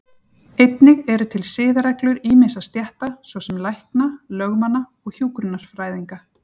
Einnig eru til siðareglur ýmissa stétta, svo sem lækna, lögmanna og hjúkrunarfræðinga.